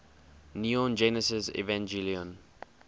neon genesis evangelion